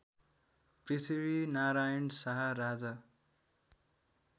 Prithvinarayan Shah Raja